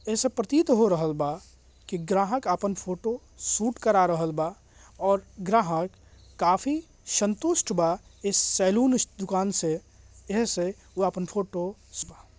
ऐसो प्रतीत हो रहल बा की ग्राहक अपन फोटो शूट करा रहल बा और ग्राहक बहुत संतुष्ट बा इस सेलून इस दुकान से आहे से उ अपन फोटो --